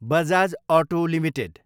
Bajaj auto Ltd